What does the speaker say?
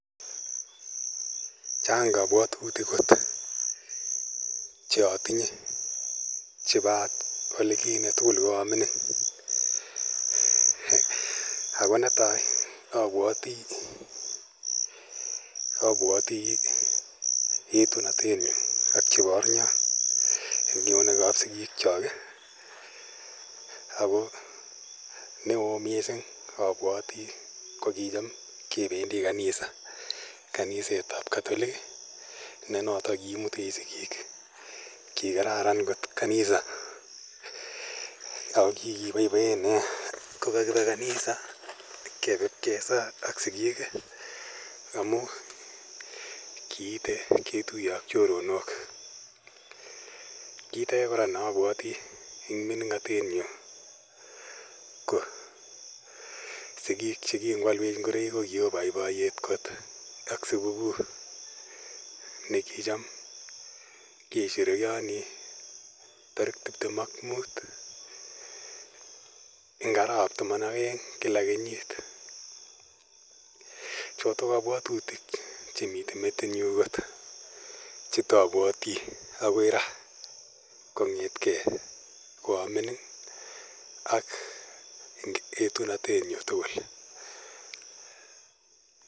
Chang' kapwatutik kot che atinye chepo ole kinye tugul ko a mining'. Ako netai apwati etunanyu ak chepo arnya eng' eunek ap sikiikchok. Ako neoo missing' apawati ko kicham kependi kanisa, kaniset ap katolik ne notok kiimutech sikiik. Ki kararan kot kanisa ako kiki paipaen nea ko kakipe kanisa kepe pkesaa ak sikiik amu kiite ketuye ak choronok. Kiit age kora ne apwati eng' mining'atenyu ko sikiik che ki ngoalwech ngoroik ko ki oo poipoyet kot ak siku kuu ne kicham kesherekeani tarik tiptem ak mut eng' arawap taman ak aeng' kila kenyit. Chotok kapwatutik che mitei metitnyu kot che taapwati akoi ra kong'ete ge ko a mining' ak eng' etunantenyu tugul.